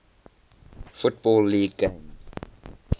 football league games